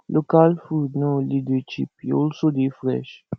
local food no only dey cheap e also dey fresh